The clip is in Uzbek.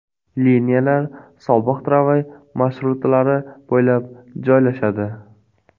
Liniyalar sobiq tramvay marshrutlari bo‘ylab joylashadi.